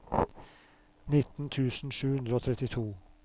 nitten tusen sju hundre og trettito